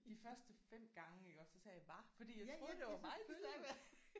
De første 5 gange iggås så sagde jeg hva fordi jeg troede det var mig de snakkede med